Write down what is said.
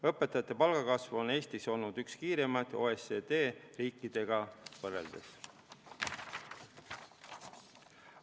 Õpetajate palgakasv on Eestis olnud OECD riikidega võrreldes üks kiiremaid.